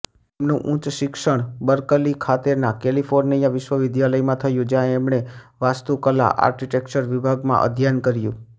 એમનું ઉચ્ચ શિક્ષણ બર્કલી ખાતેના કૈલિફોર્નિયા વિશ્વવિદ્યાલયમાં થયું જ્યાં એમણે વાસ્તુકલા આર્કિટેક્ચર વિભાગમાં અધ્યયન કર્યું